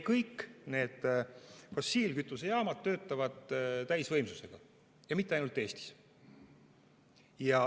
Kõik fossiilkütusejaamad töötavad täisvõimsusega ja mitte ainult Eestis.